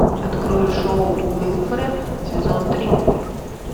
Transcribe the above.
открой шоу уилфред сезон три